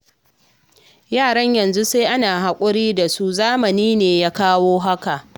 Yaran yanzu sai ana haƙuri da su, zamani ne ya kawo haka